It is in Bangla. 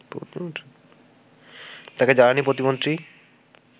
তাকে জ্বালানি প্রতিমন্ত্রী